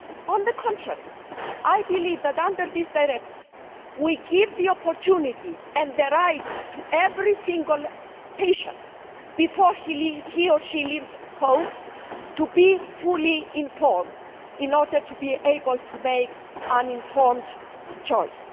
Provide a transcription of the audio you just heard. On the contrary, I believe that under this directive we are giving the opportunity and the right to every single patient, before he or she leaves home, to be fully informed in order to be able to make an informed choice.